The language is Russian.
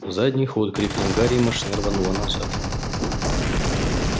задний ход крикнул гарри и машина рванула назад